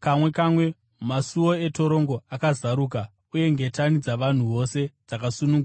Kamwe kamwe masuo etorongo akazaruka, uye ngetani dzavanhu vose dzakasununguka.